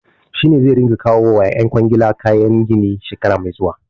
Shi ne zai ringa kawo wa ƴan kwangila kayan gini shekara mai zuwa.